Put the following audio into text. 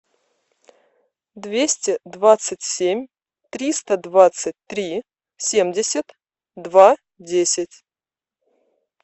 двести двадцать семь триста двадцать три семьдесят два десять